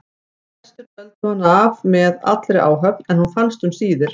Flestir töldu hana af með allri áhöfn en hún fannst um síðir.